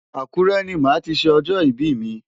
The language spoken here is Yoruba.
Akure ni màá ti ṣe ọjọ́ ìbí mi.